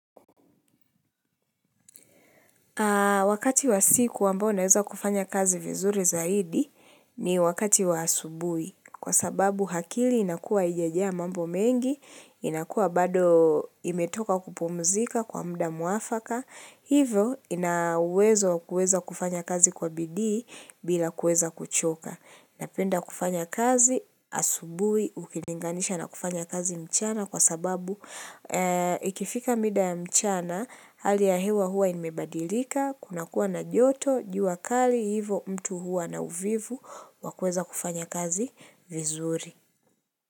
Wakati wa siku ambayo naweza kufanya kazi vizuri zaidi, ni wakati wa asubuhi. Kwa sababu akili inakuwa haijajaa mambo mengi, inakuwa bado imetoka kupumzika kwa muda mwafaka, hivyo ina uwezo wa kuweza kufanya kazi kwa bidii bila kuweza kuchoka. Napenda kufanya kazi asubuhi, ukilinganisha na kufanya kazi mchana, kwa sababu ikifika muda wa mchana, hali ya hewa huwa imebadilika, kunakuwa na joto, jua kali, hivyo mtu huwa na uvivu, wa kuweza kufanya kazi vizuri.